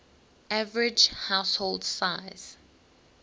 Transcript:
average household size